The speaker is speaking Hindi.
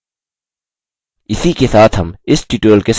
इसी के साथ हम इस tutorial के समाप्ति की ओर आ गये हैं